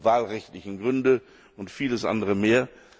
wahlrechtlichen Bedingungen, und vieles andere mehr.